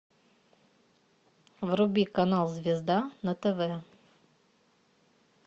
вруби канал звезда на тв